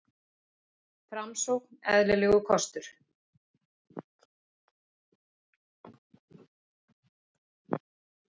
Framsókn eðlilegur kostur